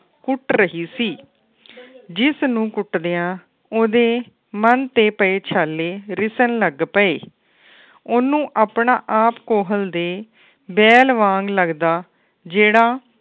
ਕੁੱਟ ਰਹੀ ਸੀ ਜਿਸ ਨੂੰ ਕੁੱਟ ਦਿਆਂ ਉਹਦੇ ਮਨ ਤੇ ਪਏ ਛਾਲੇ ਰਿਸਣ ਲੱਗ ਪਏ। ਉਹਨੂੰ ਆਪਣਾ ਆਪ ਕੋਹਲ ਦੇ ਬੈਲ ਵਾਂਗ ਲੱਗਦਾ ਜਿਹੜਾ